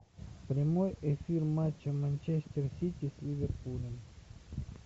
прямой эфир матча манчестер сити с ливерпулем